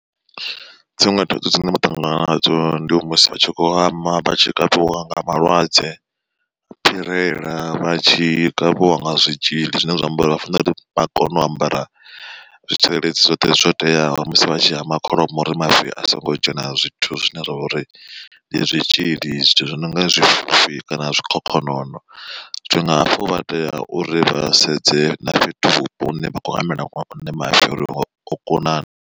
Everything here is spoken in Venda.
Dziṅwe thaidzo dzine vha ṱangana nadzo ndi musi vha tshi kho hama vhatshi kavhiwa nga malwadze phirela vhatshi kavhiwa nga zwitzhili zwine zwa amba uri vha fanela uri vha kone u ambara zwitsireledzi zwoṱhe zwo teaho. Musi vha tshi hama kholomo uri mavu a songo dzhena zwithu zwine zwa vha uri ndi zwitzhili zwithu zwi nonga zwifhufhi kana zwikhokhonono zwino hafho vha tea uri vha sedze na fhethu vhupo hune vha kho hamela mafhi uri o kuna na.